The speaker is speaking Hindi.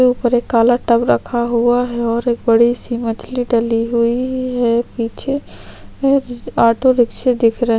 ऊपर एक काला टब रखा हुआ है और एक बड़ी-सी मछली डली हुई है पीछे एक ऑटो रिक्शे दिख र--